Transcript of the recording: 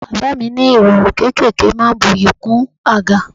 Bàbá mi ní irọrun kéékèèké máa ń bu'yi kún àga.